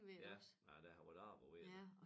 Ja nej det har været arbejdet værd